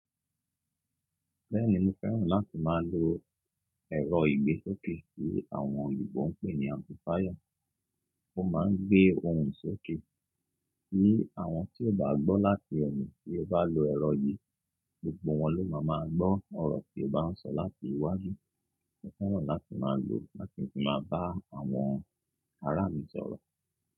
Bẹ́ẹ̀ni mo fẹ́ràn láti máa lo ẹ̀rọ ìgbésókè tí àwọn òyìnbó ń pè ní amplifier. Ó máa ń gbé ohùn sókè, kí àwọn tí ò bá gbọ́ láti eyin tí ó bá lo ẹ̀rọ yìí, gbogbo wọn ló máa máa gbọ́ ọ̀rọ̀ tí ó bá ń sọ láti iwájú. Mo fẹ́ràn láti máa lo ó láti fi máa bá àwọn ará mi sọ̀rọ̀